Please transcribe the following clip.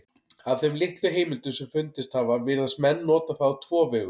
Af þeim litlu heimildum sem fundist hafa virðast menn nota það á tvo vegu.